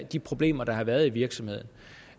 de problemer der har været i virksomheden